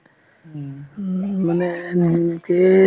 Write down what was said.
উম উম মানে